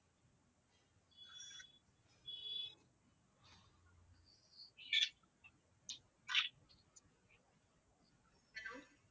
hello